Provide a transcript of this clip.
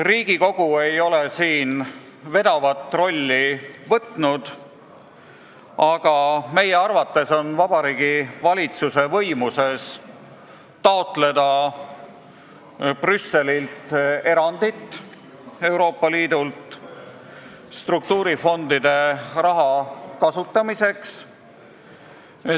Riigikogu ei ole siin vedavat rolli võtnud, aga meie arvates on Vabariigi Valitsuse võimuses taotleda Brüsselilt erandit Euroopa Liidult struktuurifondide raha kasutamiseks.